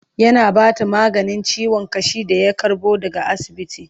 yana Bata maganin ciwon ƙashi da ya karbo daga asibiti